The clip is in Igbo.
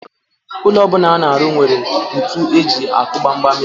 Ụlọ ọ bụla a na-arụ nwere ntu eji akụ gbamgbam ya.